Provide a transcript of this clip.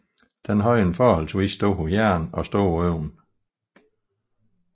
Den havde en forholdsvis stor hjerne og store øjne